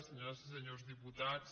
senyores i senyors diputats